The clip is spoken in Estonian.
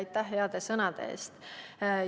Ja aitäh ka heade sõnade eest!